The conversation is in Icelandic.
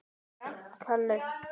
Eftir hverju?